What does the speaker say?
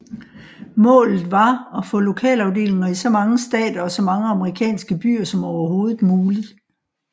Målet var at få lokalafdelinger i så mange stater og så mange amerikanske byer som overhovedet muligt